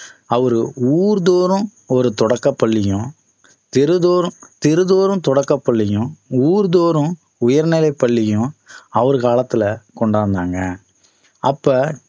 அவரு ஊர் தோறும் ஒரு தொடக்கப்பள்ளியும் தெரு தோறும் தெரு தோறும் தொடக்கப் பள்ளியும் ஊர் தோறும் உயர்நிலைப் பள்ளியும் அவர் காலத்தில கொண்டு வந்தாங்க அப்ப